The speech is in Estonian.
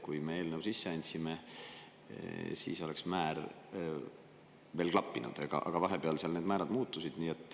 Kui me eelnõu sisse andsime, siis oleks määr veel klappinud, aga vahepeal need määrad muutusid.